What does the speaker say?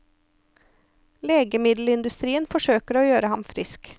Legemiddelindustrien forsøker å gjøre ham frisk.